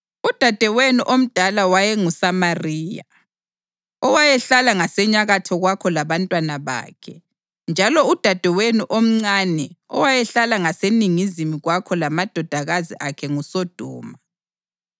Udadewenu omdala wayenguSamariya, owayehlala ngasenyakatho kwakho labantwana bakhe; njalo udadewenu omncane owayehlala ngaseningizimu kwakho lamadodakazi akhe nguSodoma.